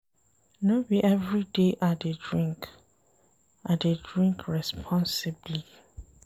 No be everyday I dey drink, I dey drink responsibly.